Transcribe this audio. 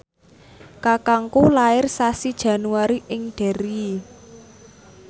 kakangku lair sasi Januari ing Derry